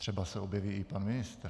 Třeba se objeví i pan ministr.